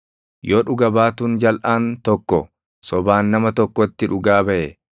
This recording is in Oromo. Yoo dhuga baatuun jalʼaan tokko sobaan nama tokkotti dhugaa baʼe,